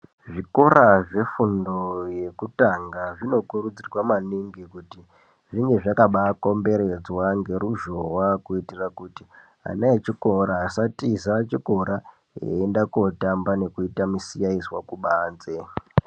Zvikora zvefundo yekutanga zvinokurudzirwa maningi kuti zvinge zvakabakomberedzwa ngeruzhowa kuitira kuti ana echikora asatiza chikora einda kootamba eita misiyaizwa kubanze.